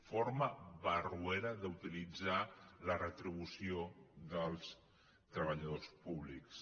forma barro·era d’utilitzar la retribució dels treballadors públics